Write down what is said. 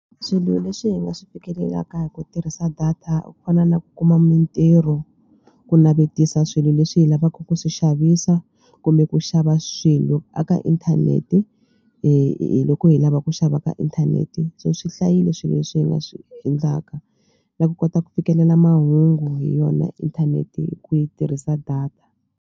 Swilo leswi hi nga swi fikelelaka hi ku tirhisa data ku fana na ku kuma mitirho, ku navetisa swilo leswi hi lavaka ku swi xavisa kumbe ku xava swilo eka inthanete hi loko hi lava ku xava ka inthanete so swi hlayile swilo leswi hi nga swi endlaka na ku kota ku fikelela mahungu hi yona inthanete hi ku yi tirhisa data.